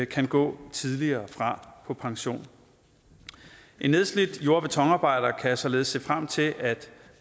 kan gå tidligere fra på pension en nedslidt jord og betonarbejder kan således se frem til at